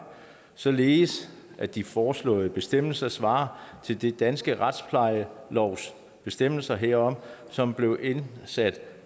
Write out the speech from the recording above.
således at de foreslåede bestemmelser svarer til den danske retsplejelovs bestemmelser herom som blev indsat